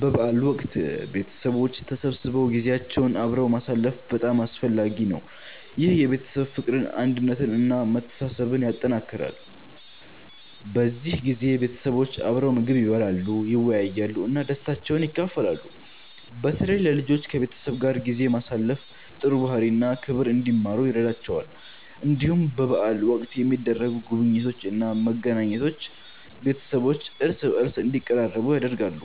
በበዓል ወቅት ቤተሰቦች ተሰብስበው ጊዜያቸውን አብረው ማሳለፍ በጣም አስፈላጊ ነው። ይህ የቤተሰብ ፍቅርን፣ አንድነትን እና መተሳሰብን ያጠናክራል። በዚህ ጊዜ ቤተሰቦች አብረው ምግብ ይበላሉ፣ ይወያያሉ እና ደስታቸውን ይካፈላሉ። በተለይ ለልጆች ከቤተሰብ ጋር ጊዜ ማሳለፍ ጥሩ ባህሪ እና ክብር እንዲማሩ ይረዳቸዋል። እንዲሁም በበዓል ወቅት የሚደረጉ ጉብኝቶች እና መገናኘቶች ቤተሰቦች እርስ በርስ እንዲቀራረቡ ያደርጋሉ።